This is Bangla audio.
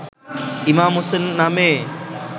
ইমাম হোসেন নামে